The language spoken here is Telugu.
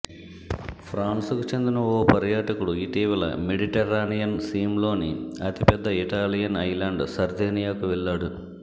ఫ్రాన్స్ కు చెందిన ఓ పర్యాటకుడు ఇటీవల మెడిటేర్రనియన్ సీమ్లోని అతిపెద్ద ఇటాలియన్ ఐల్యాండ్ సర్దేనియాకు వెళ్లాడు